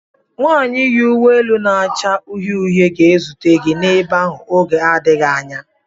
Nwanyị yi uwe elu na-acha uhie uhie ga-ezute gị ebe ahụ n'oge adịghị anya.